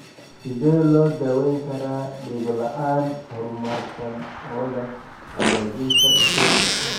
Sidee loo daweyn karaa dhego la'aan, horumarsan oo leh hagaajinta stapes?